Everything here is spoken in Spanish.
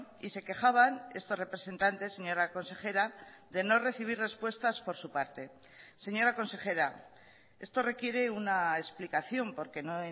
y se quejaban estos representantes señora consejera de no recibir respuestas por su parte señora consejera esto requiere una explicación porque no